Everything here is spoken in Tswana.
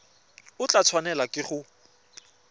o tla tshwanelwa ke go